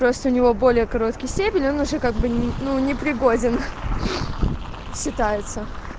просто у него более короткий стебель он уже как бы ну не пригоден считается